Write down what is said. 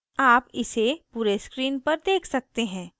आप इसे पूरे screen पर देख सकते हैं